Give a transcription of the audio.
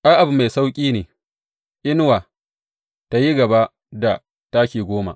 Ai, abu mai sauƙi ne inuwa tă yi gaba da taki goma.